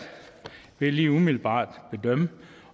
ved lige umiddelbart at bedømme